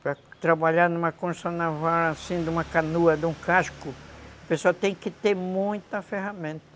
Para trabalhar numa construção naval, assim, numa canoa, num casco, o pessoal tem que ter muita ferramenta.